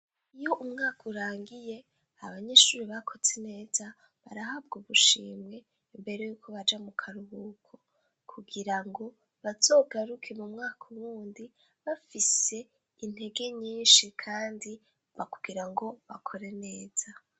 Iyo umwaka urangiye, abanyeshuri bakotse neza barahabw' ubushimwe imbere yuko baja mu karuhuko kugira ngo bazogaruke mu mwaka wundi bafise intege nyinshi kandi no kugira ngo bakore neza.